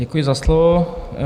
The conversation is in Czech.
Děkuji za slovo.